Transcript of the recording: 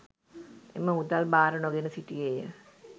එම මුදල් භාර නොගෙන සිටියේය.